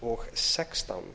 tvö þúsund og